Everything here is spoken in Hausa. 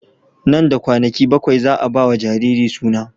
Nan da kwanaki bakwai za a ba wa jariri suna.